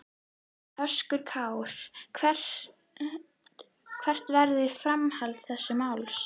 Höskuldur Kári: Hvert verður framhald þessa máls?